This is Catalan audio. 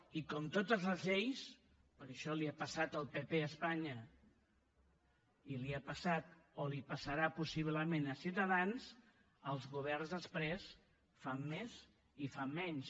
i com a totes les lleis perquè això li ha passat al pp a espanya i li ha passat o li passarà possiblement a ciutadans els governs després fan més i fan menys